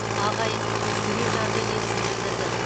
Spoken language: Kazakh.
ағайын туыс жүрекжарды лебізін білдірді